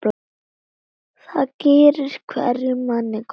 Það gerir hverjum manni gott.